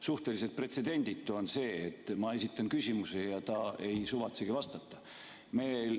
Suhteliselt pretsedenditu on see, et ma esitan küsimuse ja ta ei suvatsegi vastata.